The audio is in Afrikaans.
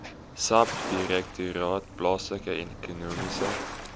subdirektoraat plaaslike ekonomiese